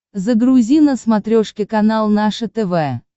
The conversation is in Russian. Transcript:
загрузи на смотрешке канал наше тв